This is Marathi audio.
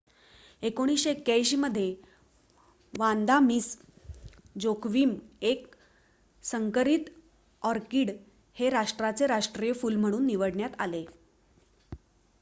1981 मध्ये वांदा मिस जोक्विम एक संकरित ऑर्किड हे राष्ट्राचे राष्ट्रीय फुल म्हणून निवडण्यात आले